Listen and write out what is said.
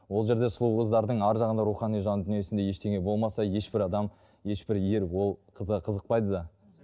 ол жерде сұлу қыздардың арғы жағында рухани жан дүниесінде ештеңе болмаса ешбір адам ешбір ер ол қызға қызықпайды да